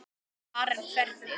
Karen: Hvernig?